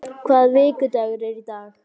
Agnes, hvaða vikudagur er í dag?